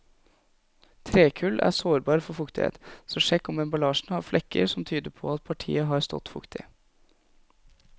Trekull er sårbar for fuktighet, så sjekk om emballasjen har flekker som tyder på at partiet har stått fuktig.